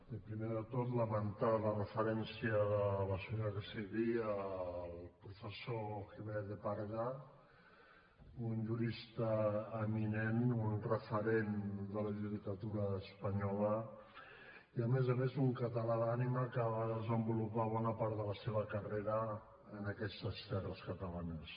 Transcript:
i primer de tot lamentar la referència de la senyora castellví al professor jiménez de parga un jurista eminent un referent de la judicatura espanyola i a més a més un català d’ànima que va desenvolupar bona part de la seva carrera en aquestes terres catalanes